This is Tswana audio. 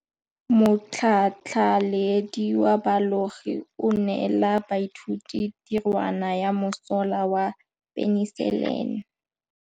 Motlhatlhaledi wa baeloji o neela baithuti tirwana ya mosola wa peniselene.